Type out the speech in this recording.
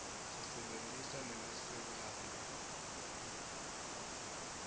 sisebentisa nemisakato